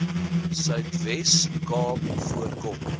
suidwes kaap voorkom